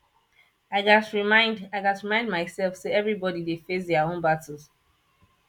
i gats remind i gats remind myself say everybody dey face their own battles